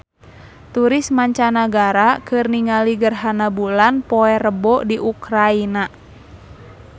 Turis mancanagara keur ningali gerhana bulan poe Rebo di Ukraina